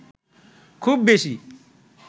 খুব বেশি